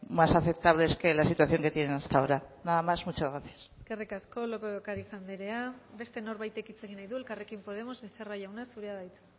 más aceptables que la situación que tienen hasta ahora nada más muchas gracias eskerrik asko lópez de ocariz andrea beste norbaitek hitz egin nahi du elkarrekin podemos becerra jauna zurea da hitza